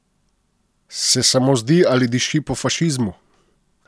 Se samo zdi ali diši po fašizmu?